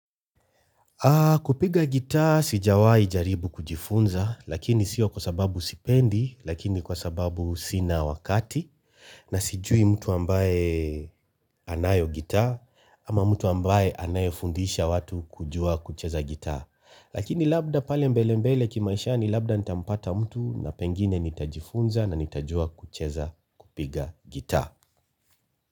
Kupiga gita sijawahi jaribu kujifunza lakini sio kwa sababu sipendi lakini kwa sababu sina wakati na sijui mtu ambaye anayo gita ama mtu ambaye anayofundisha watu kujua kucheza gita. Lakini labda pale mbele mbele kimaishani labda nitampata mtu na pengine nitajifunza na nitajua kucheza kupiga gita.